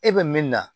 E bɛ min na